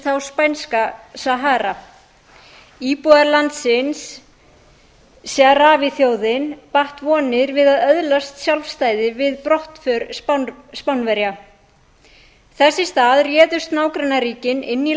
þá spænska til sahara íbúar landsins sahrawi þjóðin batt vonir við að öðlast sjálfstæði við brottför spánverja þess í stað réðust nágrannaríkin inn í